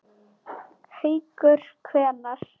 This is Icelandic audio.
Haukur: Hvenær?